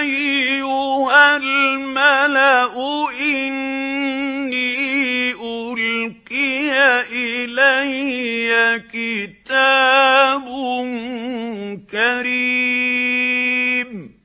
أَيُّهَا الْمَلَأُ إِنِّي أُلْقِيَ إِلَيَّ كِتَابٌ كَرِيمٌ